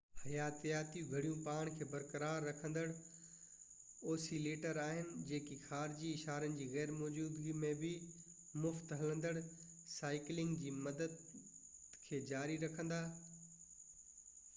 حياتياتي گھڙيون پاڻ کي برقرار رکيندڙ اوسيليٽرز آھن جيڪي خارجي اشارن جي غير موجودگي ۾ به مفت-هلندڙ سائيڪلنگ جي مدت کي جاري رکندا